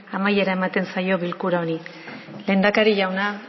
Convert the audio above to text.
amaiera ematen zaio bilkura hori lehendakari jauna